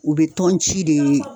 U be tɔn ci de